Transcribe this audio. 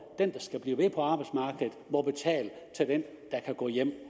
den der skal blive ved på arbejdsmarkedet må betale til den der kan gå hjem